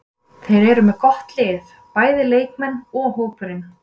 Þeir eru með gott lið, bæði leikmenn og hópurinn.